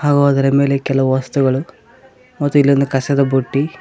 ಅವ್ ಹೋದರೆ ಮೇಲೆ ಕೆಲವು ವಸ್ತುಗಳು ಮತ್ತು ಇಲ್ಲಿ ಒಂದ್ ಕಸದ ಬುಟ್ಟಿ.